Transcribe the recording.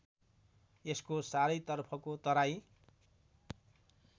यसको चारैतर्फको तराई